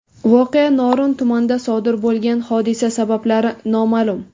Voqea Norin tumanida sodir bo‘lgan, hodisa sabablari noma’lum.